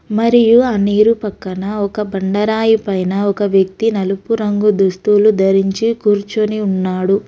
మరియు ఆ నీరు పక్కన ఒక బండరాయి పైన ఒక వ్యక్తి నలుపు రంగు దుస్తులు ధరించి కూర్చొని ఉన్నాడు.